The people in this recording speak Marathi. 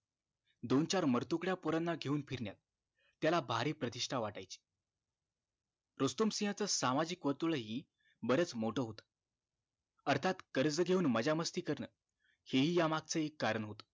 दोन चार मरतुकड्या पोरांना घेऊन फिरण्यात त्याला भारी प्रतिष्ठा वाटायची रुस्तुम सिंह च सामाजिक वर्तुळ हि बरच मोठं होत अर्थात कर्ज घेऊन मज्जा मस्ती करण हि ह्या मगच कारण होत